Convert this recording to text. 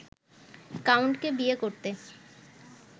কাউন্টকে বিয়ে করতে